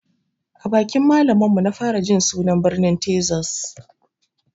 A bakin malamin mu na fara jin sunan birnin tezas